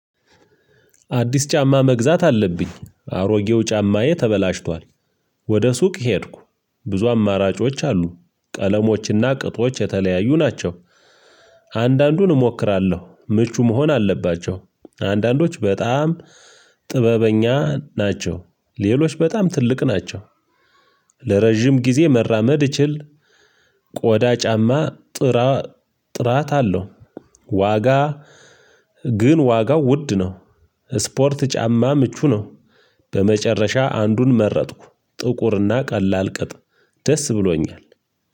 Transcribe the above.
አዲስ ጫማ መግዛት አለብኝ። አሮጌው ጫማዬ ተበላሽቷል። ወደ ሱቅ ሄድኩ። ብዙ አማራጮች አሉ። ቀለሞችና ቅጦች የተለያዩ ናቸው። አንዳንዱን እሞክራለሁ። ምቹ መሆን አለባቸው። አንዳንዶች በጣም ጥበበኛ ናቸው። ሌሎች በጣም ትልቅ ናቸው። ለረጅም ጊዜ መራመድ እችል ቆዳ ጫማ ጥራት አለው። ዋጋ ግን ዋጋው ውድ ነው። ስፖርት ጫማ ምቹ ነው። በመጨረሻ አንዱን መረጥኩ። ጥቁርና ቀላል ቅጥ ደስ ብሎኛል።